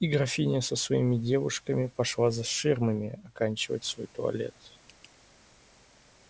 и графиня со своими девушками пошла за ширмами оканчивать свой туалет